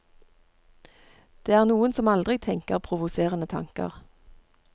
Det er noen som aldri tenker provoserende tanker.